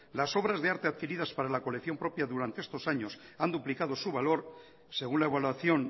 las obras de arte adquiridas para la colección propia durante estos años han duplicado su valor según la evaluación